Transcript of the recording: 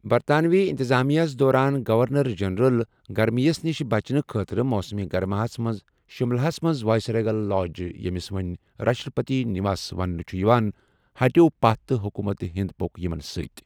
برطانوی انتظامیہس دوران گورنر جنرل گرمی یس نشہِ بچنہٕ خٲطرٕ موسم گرماہس منٛز شُملہس منٛز وائسریگل لاج، ییٚمِس وۅنۍ راشٹرپتی نیوس وننہٕ چھُ یِوان، ہٹیوٚو پَتھ تہٕ حکومت ہِند پوٚک یِمن ستۍ۔